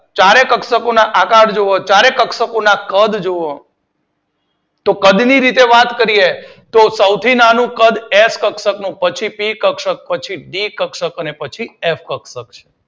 ચારેય કક્ષક ના આકાર જોવો ચારેય કક્ષક ના કદ જોવો કદ ની વાત કરીએ તો સૌથી નાનું કદ એફ કક્ષક નું પછી પી કક્ષક પછી ડી કક્ષક પછી એફ કક્ષક છે.